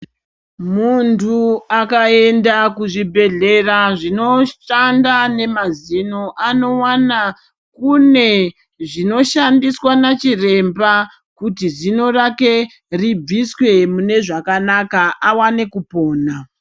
Muntu akaenda kuzvibhedhlera zvinoshanda nemazino anowana kune zvinoshandiswa nachiremba kuti zino rake ribviswe munezvakanaka awane kupona.